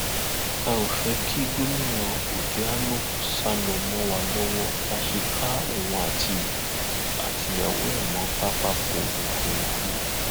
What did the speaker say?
a ò fẹ kí gómìnà obiano sá lọ mọ wa lọwọ la ṣe ká òun àtìyàwó ẹ mọ pápákọ òfurufú